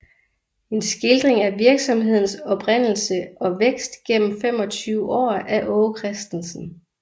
En Skildring af Virksomhedens Oprindelse og Vækst gennem 25 Aar af Aage Christensen